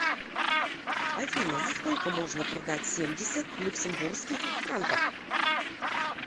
афина за сколько можно продать семьдесят люксембургских франков